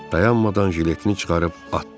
dayanmadan jiletini çıxarıb atdı.